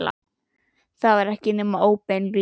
Það var ekki nema óbein lygi.